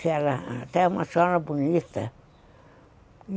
que era até uma senhora bonita.